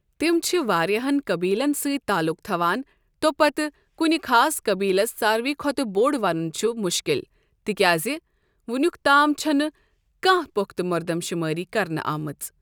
تِم چھِ واریاہَن قبیلن سۭتۍ تعلق تھوان تۄپتہٕ کُنہِ خاص قبیلَس ساروٕے کھوتہٕ بوٚڑ وَنُن چھُ مُشکِل تِکیازِ وۄنِیُک تام چھنہٕ کانٛہہ پختہٕ مردم شمٲری کرنہٕ آمٕژ۔